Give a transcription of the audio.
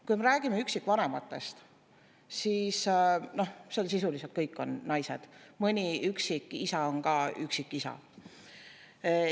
Kui me räägime üksikvanematest, siis noh, sisuliselt kõik on naised, mõni üksik isa on ka üksikisa.